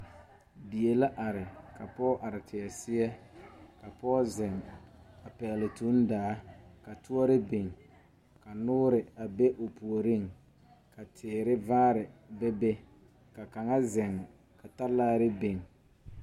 Die la are ka pɔɔ are teɛ seɛ la pɔɔ zeŋ pɛgle tuŋdaa ka tɔɔre biŋ ka noore a be o puoriŋ ka teere vaare bebe la kaŋa zeŋ talaare biŋ.